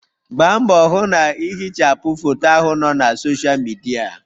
Gbaa mbọ hụ na ihichapụ foto ahụ nọ na Sọsha Midia.!